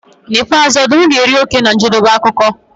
N'ikpeazụ ọdụm ga-eri oke na njedebe akụkọ.